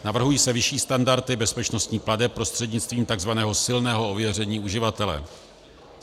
Navrhují se vyšší standardy bezpečnostních plateb prostřednictvím takzvaného silného ověření uživatele.